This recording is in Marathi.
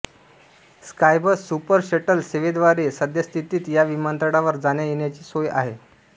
स्कायबस सुपर शटल सेवेद्वारे सद्य स्थितीत या विमानतळावर जाण्यायेण्याची सोय आहे